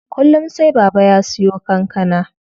Kullum sai Baba ya siyo kankana.